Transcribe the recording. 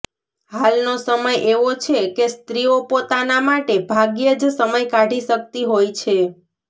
હાલનો સમય એવો છે કે સ્ત્રીઓ પોતાના માટે ભાગ્યે જ સમય કાઢી શકતી હોય છે